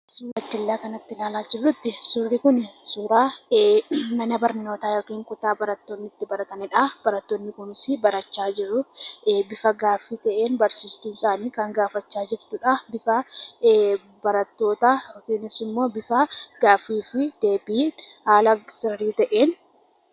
Suuraa gara jalaa kanatti ilaalaa jirrutti suurri kun suura mana barnootaa yookiin kutaa barattoonni itti baratanidha. Barattoonni kunis barachaa jiru bifa gaaffii ta'een barsiiftuun isaanii kan gaafachaa jirtudha. Barattootas immoo bifa gaaffii fi deebiin haala sirrii ta'een hirmaachisaa jirti.